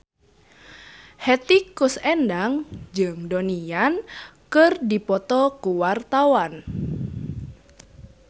Hetty Koes Endang jeung Donnie Yan keur dipoto ku wartawan